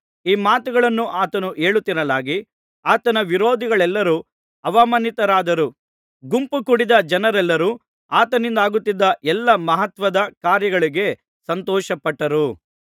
ಈ ಮಾತುಗಳನ್ನು ಆತನು ಹೇಳುತ್ತಿರಲಾಗಿ ಆತನ ವಿರೋಧಿಗಳೆಲ್ಲರೂ ಅವಮಾನಿತರಾದರು ಗುಂಪು ಕೂಡಿದ್ದ ಜನರೆಲ್ಲರೂ ಆತನಿಂದಾಗುತ್ತಿದ್ದ ಎಲ್ಲಾ ಮಹತ್ತಾದ ಕಾರ್ಯಗಳಿಗೆ ಸಂತೋಷಪಟ್ಟರು